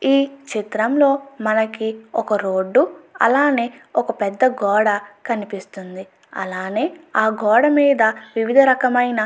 ఈ చిత్రంలో మనకి ఒక రోడ్డు అలానే ఒక పెద్ద గోడ కనిపిస్తుంది అలానే ఆ గోడమీద వివిధ రకమైన --